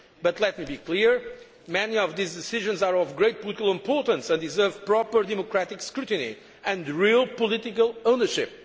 work. But let me be clear many of these decisions are of great political importance and deserve proper democratic scrutiny and real political ownership.